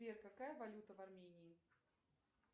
сбер какая валюта в армении